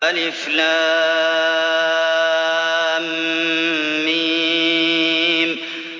الم